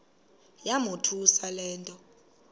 yamothusa le nto